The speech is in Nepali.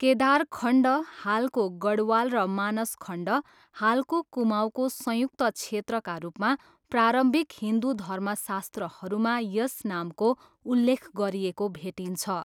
केदारखण्ड, हालको गढवाल र मानसखण्ड, हालको कुमाऊँको संयुक्त क्षेत्रका रूपमा प्रारम्भिक हिन्दु धर्मशास्त्रहरूमा यस नामको उल्लेख गरिएको भेटिन्छ।